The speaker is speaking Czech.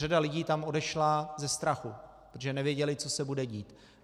Řada lidí tam odešla ze strachu, protože nevěděli, co se bude dít.